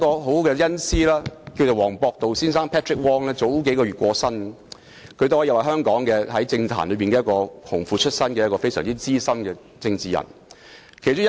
我的恩師黃博度先生在數月前過身，他可說是香港政壇"紅褲子"出身的資深政治人物。